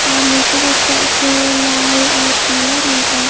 और निचे का फर्श है वो लाल और पीला रंग का है।